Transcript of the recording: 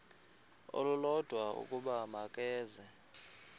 olulodwa ukuba makeze